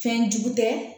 Fɛnjugu tɛ